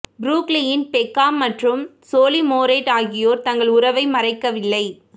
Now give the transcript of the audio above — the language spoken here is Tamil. புரூக்ளின் பெக்காம் மற்றும் சோலி மோரேட் ஆகியோர் தங்கள் உறவை மறைக்கவில்லை